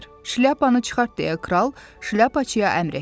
Şlyapanı çıxart deyə Kral Şlyapaçıya əmr etdi.